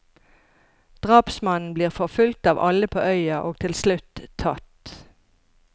Drapsmannen blir forfulgt av alle på øya og til slutt tatt.